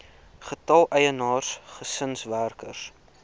getal eienaars gesinswerkers